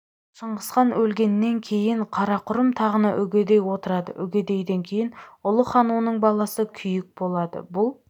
шыңғысхан өлгеннен кейін қарақұрым тағына үгедей отырады үгедейден кейін ұлы хан оның баласы күйік болады бұл